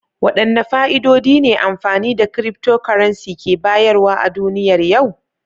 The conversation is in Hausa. Wadanne fa'idodi ne amfani da cryptocurrency ke bayarwa a duniyar yau?